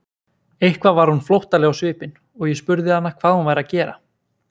Eitthvað var hún flóttaleg á svipinn og ég spurði hana hvað hún væri að gera.